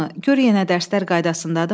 Gör yenə dərslər qaydasındadırmı?